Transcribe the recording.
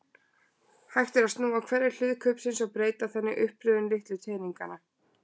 Hægt er að snúa hverri hlið kubbsins og breyta þannig uppröðun litlu teninganna.